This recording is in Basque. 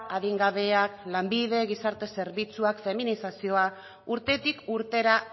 adingabeak lanbide gizarte zerbitzuak feminizazioa urtetik urtera